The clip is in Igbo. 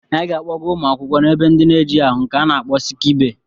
Anyị ga-akpọga ụmụ akwụkwọ na-ebe ndị ejighị ahụ nke a na-akpọ siki bee.